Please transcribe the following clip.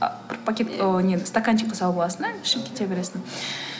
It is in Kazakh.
бір пакет ой нет стаканчикқа салып аласың да ішіп кете бересің